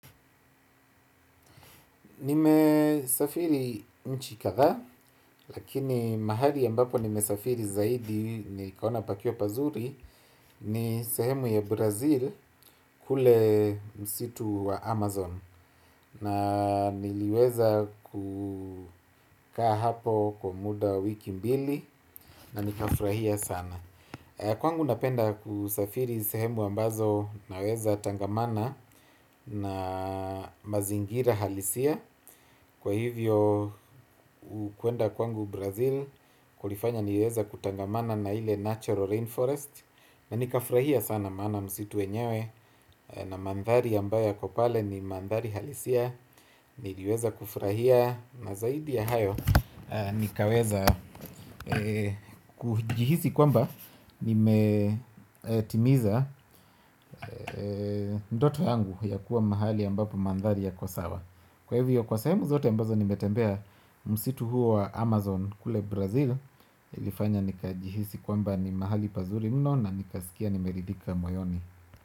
Nimesafiri nchi kadhaa, lakini mahali ambapo nimesafiri zaidi nikaona pakiwa pazuri, ni sehemu ya Brazil kule msitu wa Amazon na, niliweza kukaa hapo kwa muda wa wiki mbili na nikafurahia sana. Kwangu napenda kusafiri sehemu ambazo naweza tangamana na mazingira halisia. Kwa hivyo, kuenda kwangu Brazil kulifanya niweze kutangamana na ile natural rainforest, na nikafurahia sana maana msitu wenyewe na mandhari ambayo yako pale ni mandhari halisia, niliweza kufurahia na zaidi ya hayo, nikaweza kujihisi kwamba nimetimiza ndoto yangu ya kuwa mahali ambapo mandhari yako sawa. Kwa hivyo kwa sehemu zote ambazo nimetembea msitu huo wa Amazon kule Brazil, Ilifanya nikajihisi kwamba ni mahali pazuri mno na nikasikia nimeridhika moyoni.